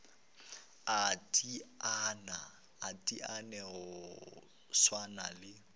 a teteane go swana le